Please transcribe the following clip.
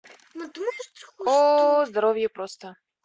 ооо здоровье просто